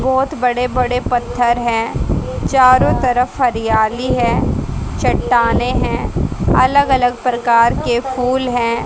बहोत बड़े बड़े पत्थर हैं चारों तरफ हरियाली है चट्टानें हैं अलग अलग प्रकार के फूल हैं।